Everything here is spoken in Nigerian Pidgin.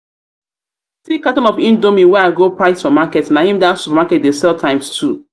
carton of indomie wey i go price for market na im that supermarket dey sell times two